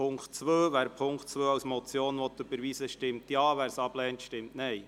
Wer den Punkt 2 als Motion überweisen will stimmt Ja, wer dies ablehnt, stimmt Nein.